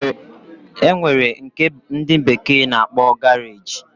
Enwere nke ndi bekee na-akpo garage